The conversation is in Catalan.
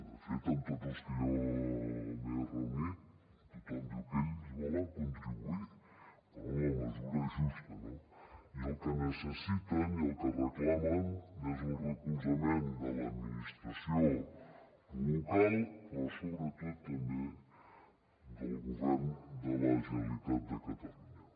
de fet amb tots els que jo m’he reunit tothom diu que ells hi volen contribuir però en la mesura justa no i el que necessiten i el que reclamen és el recolzament de l’administració local però sobretot també del govern de la generalitat de catalunya